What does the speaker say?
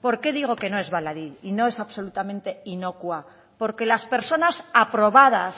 por qué digo que no es baladí y no es absolutamente inocua porque las personas aprobadas